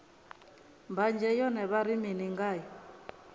mbanzhe yone vha ri mini ngayo